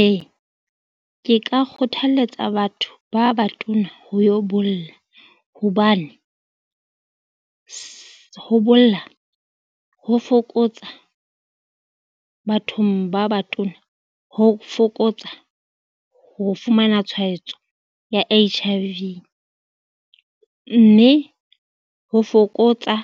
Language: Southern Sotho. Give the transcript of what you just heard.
Ee ke ka kgothaletsa batho ba batona ho yo bolla, hobane ho bolla ho fokotsa bathong ba batona ho fokotsa ho fumana tshwaetso ya H_I_V mme ho fokotsa